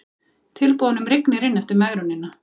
Tilboðunum rignir inn eftir megrunina